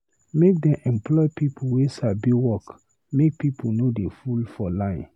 Make dem employ pipu wey sabi work, make pipu no dey full for line.